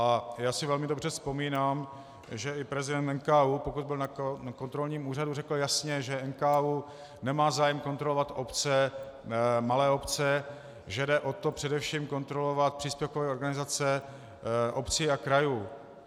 A já si velmi dobře vzpomínám, že i prezident NKÚ, pokud byl na kontrolním úřadu, řekl jasně, že NKÚ nemá zájem kontrolovat obce, malé obce, že jde o to především kontrolovat příspěvkové organizace obcí a krajů.